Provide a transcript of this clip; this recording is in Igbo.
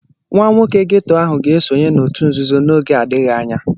Nwa nwoke ghetto ahụ ga-esonye n'òtù nzuzo n'oge adịghị anya.